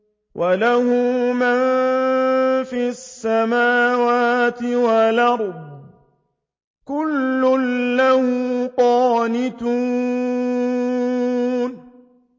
وَلَهُ مَن فِي السَّمَاوَاتِ وَالْأَرْضِ ۖ كُلٌّ لَّهُ قَانِتُونَ